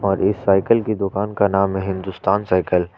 और साइकिल के दुकान का नाम है हिंदुस्तान साइकिल।